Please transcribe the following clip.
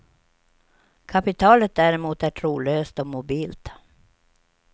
Kapitalet däremot är trolöst och mobilt.